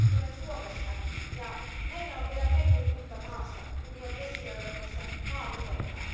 Itse tulen Suomesta ja meillä on vielä metri lunta maassa, kun jo Keski Euroopassa maa vihertää.